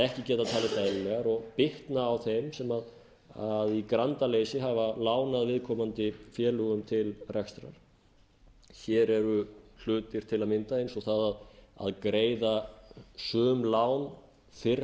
ekki geta talist eðlilegar og bitna á þeim sem í grandaleysi hafa lánað viðkomandi félögum til rekstrar hér eru hlutir til að mynda eins og það að greiða sum lán fyrr